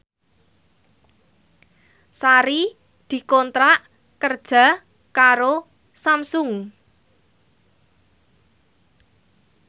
Sari dikontrak kerja karo Samsung